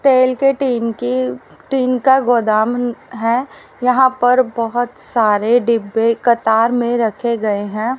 तेल के टीन की टीन का गोदाम है यहां पर बहोत सारे डिब्बे कतार में रखे गए हैं।